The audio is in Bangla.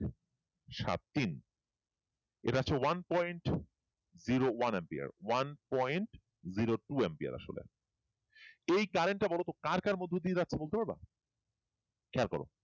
সাত তিন এটা হচ্ছে one point zero one Empire one point zero two umpire এই current টা বলতো কার কার বলতে পারবা খেয়াল করো